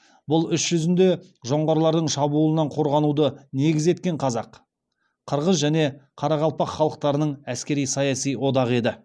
бұл іс жүзінде жоңғарлардың шабуылынан қорғануды негіз еткен қазақ қырғыз және қарақалпақ халықтарының әскери саяси одағы еді